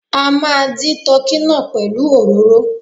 A máa dí tọ́kì náà pẹ̀lú òróró.